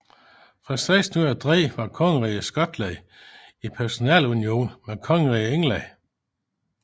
Fra 1603 var Kongeriget Skotland i personalunion med Kongeriget England